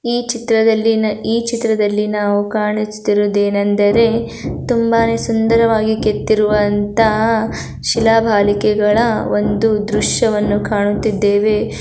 ಈ ಚಿತ್ರದಲ್ಲಿ ಈ ಚಿತ್ರದಲ್ಲಿ ನಾವು ಕಾಣಿಸುತ್ತಿರುವುದು ಏನೆಂದರೆ ತುಂಬಾನೇ ಸುಂದರವಾಗಿ ಕೆತ್ತಿರುವಂತಹ ಶೀಲಾ ಬಾಲಕೆಗಳ ಒಂದು ದೃಶ್ಯವನ್ನು ಕಾಣುತ್ತಿದ್ದೇವೆ.